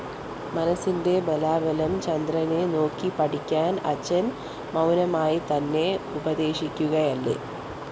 മനസ്സിന്റെ ബലാബലം ചന്ദ്രനെ നോക്കി പഠിക്കാന്‍ അച്ഛന്‍ മൗനമായിത്തന്നെ ഉപദേശിക്കുകയല്ലേ!